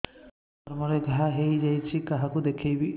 ଚର୍ମ ରେ ଘା ହୋଇଯାଇଛି କାହାକୁ ଦେଖେଇବି